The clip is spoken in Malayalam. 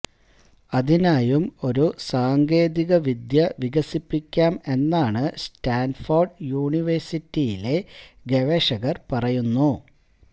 അതിനായും ഒരു സാങ്കേതിക വിദ്യ വികസിപ്പിക്കാം എന്നാണ് സ്റ്റാന്ഫോര്ഡ് യൂണിവേഴ്സിറ്റിയിലെ ഗവേഷകര് പറയുന്നു